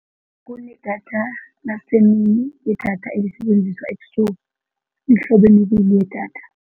Kunedatha lasemini, nedatha elisebenziswa ebusuku, mhlobo emibile yedatha.